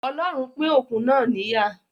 Ọlọ́run pín òkun náà níyà